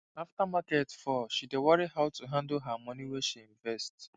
after market fall she dey worry how to handle her money wey she invest